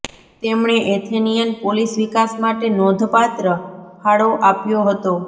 તેમણે Athenian polis વિકાસ માટે નોંધપાત્ર ફાળો આપ્યો હતો